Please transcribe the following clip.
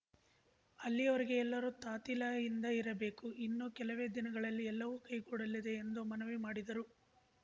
ಅಲ್ಲಿಯವರೆಗೆ ಎಲ್ಲರೂ ತಾತಿಲಯಿಂದ ಇರಬೇಕು ಇನ್ನು ಕೆಲವೇ ದಿನಗಳಲ್ಲಿ ಎಲ್ಲವೂ ಕೈಗೂಡಲಿದೆ ಎಂದು ಮನವಿ ಮಾಡಿದರು